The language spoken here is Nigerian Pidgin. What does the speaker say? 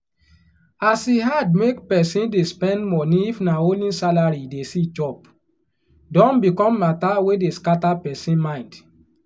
as e hard make pesin dey spend money if na only salary e dey see chop don become matter wey dey scatter person mind